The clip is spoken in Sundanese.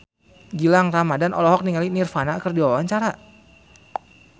Gilang Ramadan olohok ningali Nirvana keur diwawancara